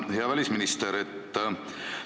Hea välisminister!